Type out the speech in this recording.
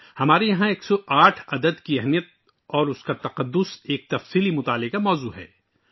ہمارے یہاں 108 عدد کی اہمیت، اس کی پاکیزگی ایک گہرے مطالعہ کا موضوع ہے